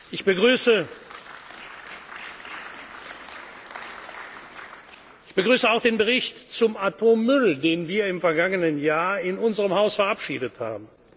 zu betreiben. Ich begrüße auch den Bericht zum Atommüll, den wir im vergangenen Jahr in unserem Haus verabschiedet